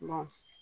Maa